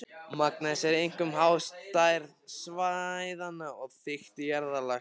Magn þess er einkum háð stærð svæðanna og þykkt jarðlaga.